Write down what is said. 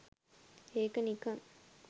ඒක නිකන්